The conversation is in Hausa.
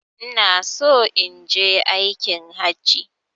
Inaso inje aikin hajji